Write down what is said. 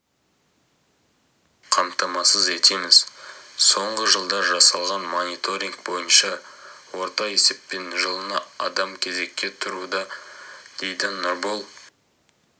қамтамасыз етеміз соңғы жылда жасалған мониторинг бойынша орта есеппен жылына адам кезекке тұруда дейді нұрбол